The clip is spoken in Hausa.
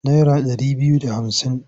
Naira ɗari biyu da hamsin.